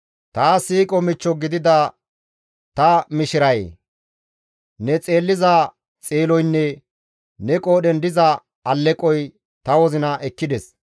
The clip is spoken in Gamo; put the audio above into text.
Taas siiqo michcho gidida ta mishirayee! Ne xeelliza xeeloynne ne qoodhen diza alleqoy ta wozina ekkides.